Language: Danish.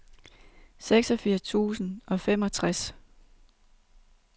seksogfirs tusind og femogtres